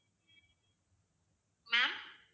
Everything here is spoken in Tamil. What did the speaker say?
ma'am